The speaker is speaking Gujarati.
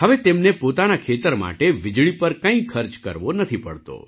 હવે તેમને પોતાના ખેતર માટે વીજળી પર કંઈ ખર્ચ કરવો નથી પડતો